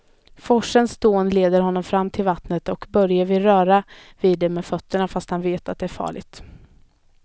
Forsens dån leder honom fram till vattnet och Börje vill röra vid det med fötterna, fast han vet att det är farligt.